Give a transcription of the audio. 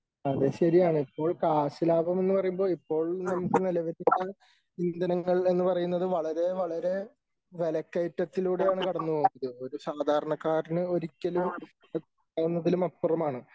അത് ശരിയാണ് . ഇപ്പോൾ കാശ് ലാഭം എന്ന് പറയുമ്പോൾ ഇപ്പോൾ നമുക്ക് നിലവിലുള്ള ഇന്ധനങ്ങൾ എന്ന് പറയുന്നത് നമുക്ക് വളരെ വളരെ വിലക്കയറ്റത്തിലൂടെയാണ് കടന്നു പോകുന്നത്.ഒരു സാധാരണക്കാരന് ഒരിക്കലുംതാങ്ങാവുന്നതിലും അപ്പുറമാണ് .